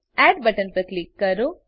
add button પર click કરો